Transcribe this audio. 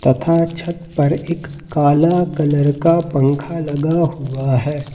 तथा छत पर एक काला कलर का पंखा लगा हुआ हैं।